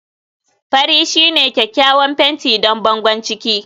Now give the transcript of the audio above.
fari shine kyakkyawan fenti don bangon ciki